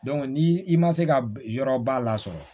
ni i ma se ka yɔrɔ ba la sɔrɔ